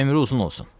Ömrü uzun olsun.